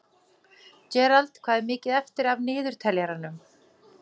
Gerald, hvað er mikið eftir af niðurteljaranum?